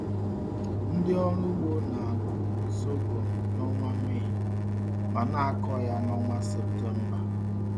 Ndị ọrụ ugbo na-akụ sọgọm n’ọnwa Mee ma na-akọ ya n’ọnwa Septemba.